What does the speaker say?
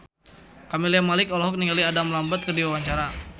Camelia Malik olohok ningali Adam Lambert keur diwawancara